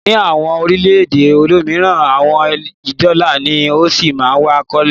ní àwọn orílẹ̀-èdè olómìnira, owó dola ni ó sí ma wa lókè